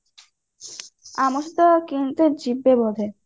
ଆମ ସହିତ କେମିତେ ଯିବେ ରୁହେ